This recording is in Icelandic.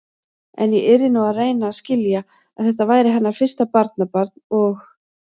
En ég yrði nú að reyna að skilja, að þetta væri hennar fyrsta barnabarn og.